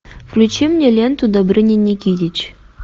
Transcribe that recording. включи мне ленту добрыня никитич